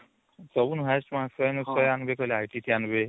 ସବୁଠୁ highest mark